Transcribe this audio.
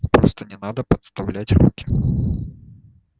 просто не надо подставлять руки